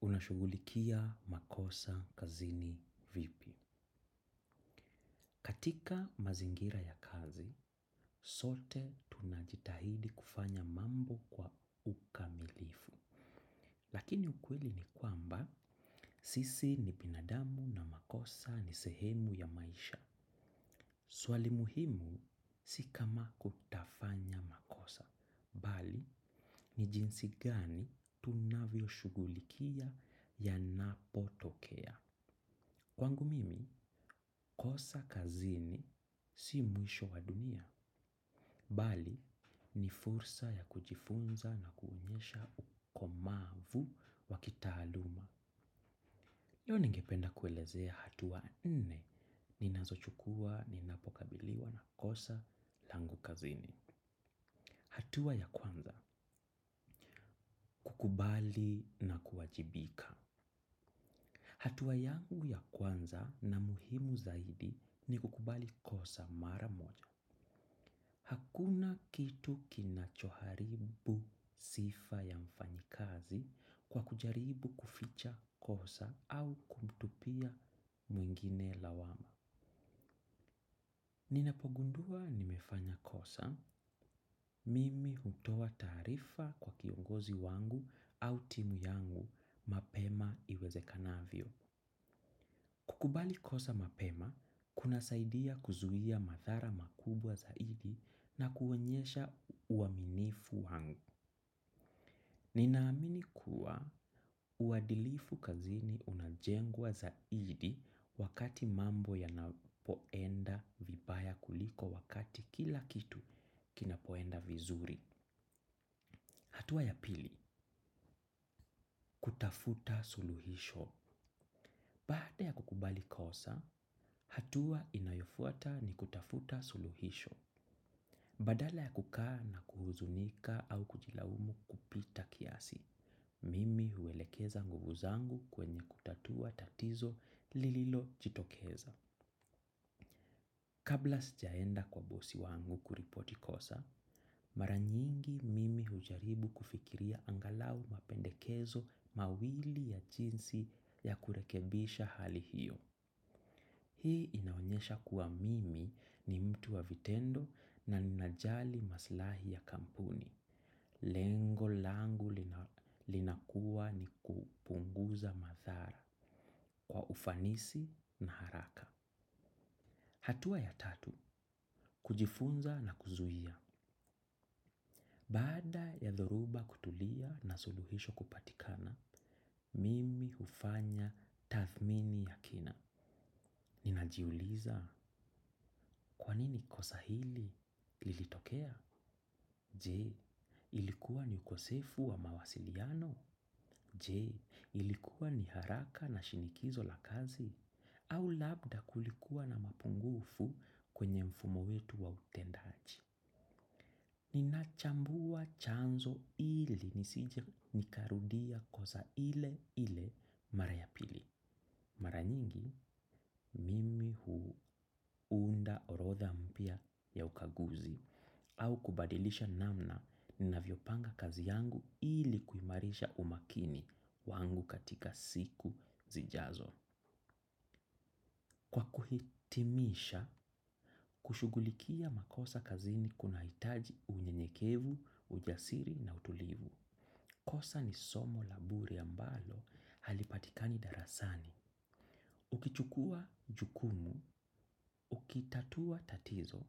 Unashugulikia makosa kazini vipi. Katika mazingira ya kazi, sote tunajitahidi kufanya mambo kwa ukamilifu. Lakini ukweli ni kwamba, sisi ni binadamu na makosa ni sehemu ya maisha. Swali muhimu, sikama kutafanya makosa. Bali, ni jinsi gani tunavyo shugulikia yanapotokea. Kwangu mimi, kosa kazini si muisho wa dunia, bali ni fursa ya kujifunza na kuunyesha ukomavu wakitaluma. Yonigipenda kuelezea hatuwa nne, ninazo chukua, ninapokabiliwa na kosa langu kazini. Hatuwa ya kwanza, kukubali na kuajibika. Hatuwa yangu ya kwanza na muhimu zaidi ni kukubali kosa mara moja. Hakuna kitu kinachoharibu sifa ya mfanyikazi kwa kujaribu kuficha kosa au kumtupia mwingine lawama. Ninapogundua nimefanya kosa, mimi untowa tarifa kwa kiongozi wangu au timu yangu mapema iweze kanavyo. Kukubali kosa mapema kunasaidia kuzuia madhara makubwa zaidi na kuonyesha uaminifu wangu. Ninaamini kuwa uadilifu kazini unajengwa zaidi wakati mambo yanapoenda vibaya kuliko wakati kila kitu kinapoenda vizuri. Hatua ya pili, kutafuta suluhisho. Paata ya kukubali kosa, hatua inayofuata ni kutafuta suluhisho. Badala ya kukaa na kuhuzunika au kujilawumu kupita kiasi, mimi huelekeza nguvu zangu kwenye kutatua tatizo lililo chitokeza. Kabla sijaenda kwa bosi wangu kuripoti kosa, maranyingi mimi hujaribu kufikiria angalau mapendekezo mawili ya jinsi ya kurekebisha hali hiyo. Hii inaonyesha kuwa mimi ni mtu wa vitendo na ninajali maslahi ya kampuni. Lengo langu linakuwa ni kupunguza mathara kwa ufanisi na haraka. Hatua ya tatu, kujifunza na kuzuhia. Bada ya dhoruba kutulia na suluhisho kupatikana, mimi ufanya tathmini ya kina. Ninajiuliza kwanini kosa hili lilitokea? Je ilikuwa ni ukosefu wa mawasiliano. Je, ilikuwa ni haraka na shinikizo la kazi? Au labda kulikuwa na mapungufu kwenye mfumo wetu wa utendaji? Ninachambua chanzo ili nisijie nikarudia koza ile ile mara yapili. Mara nyingi mimi huu unda orotha mpia ya ukaguzi au kubadilisha namna nina vyopanga kazi yangu ili kuimarisha umakini wangu katika siku zijazo. Kwa kuhitimisha, kushugulikia makosa kazini kuna itaji unye nyekevu, ujasiri na utulivu. Kosa ni somo labure ambalo halipatikani darasani. Ukichukua jukumu, ukitatua tatizo